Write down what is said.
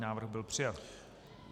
Návrh byl přijat.